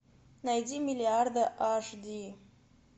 найди миллиарды аш ди